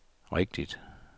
rigtigt